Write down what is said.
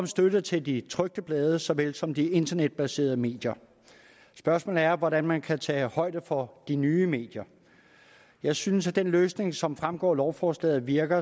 støtte til de trykte blade såvel som de internetbaserede medier spørgsmålet er hvordan man kan tage højde for de nye medier jeg synes at den løsning som fremgår af lovforslaget virker